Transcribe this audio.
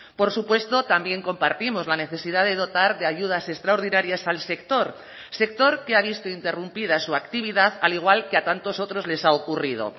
por supuesto también compartimos la necesidad de dotar de ayudas extraordinarias al sector sector que ha visto interrumpida su actividad al igual que a tantos otros les ha ocurrido